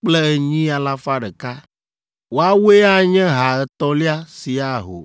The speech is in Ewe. kple enyi alafa ɖeka (108,100). Woawoe anye ha etɔ̃lia si aho.